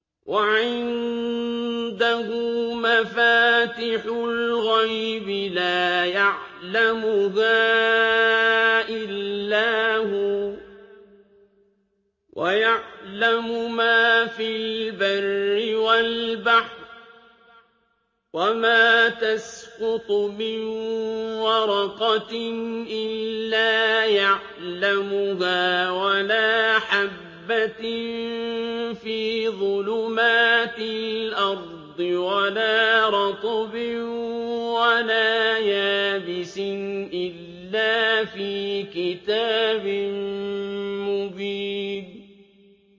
۞ وَعِندَهُ مَفَاتِحُ الْغَيْبِ لَا يَعْلَمُهَا إِلَّا هُوَ ۚ وَيَعْلَمُ مَا فِي الْبَرِّ وَالْبَحْرِ ۚ وَمَا تَسْقُطُ مِن وَرَقَةٍ إِلَّا يَعْلَمُهَا وَلَا حَبَّةٍ فِي ظُلُمَاتِ الْأَرْضِ وَلَا رَطْبٍ وَلَا يَابِسٍ إِلَّا فِي كِتَابٍ مُّبِينٍ